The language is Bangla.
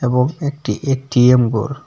এবং একটি এ_টি_এম বোর ।